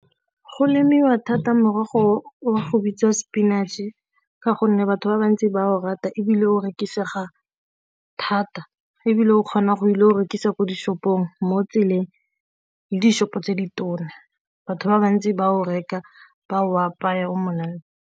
Go lemiwa thata morogo wa go bitsa spinach-e ka gonne batho ba bantsi ba o rata, ebile o rekisega thata ebile o kgona go ile go rekisa ko di-shop-ong mo tseleng le di-shop-o tse di tona, batho ba bantsi ba o reka ba o apaya o monate.